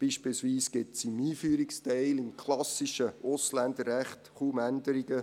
Beispielsweise gibt es im Einführungsteil des klassischen Ausländerrechts kaum Änderungen.